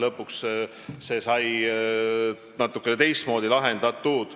Lõpuks lahendati see natukene teistmoodi.